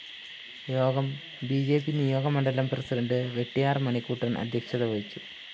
യോഗം B J P നിയോജകമണ്ഡലം president Vettiyar‍ Manikuttan‍ അദ്ധ്യക്ഷത വഹിച്ചു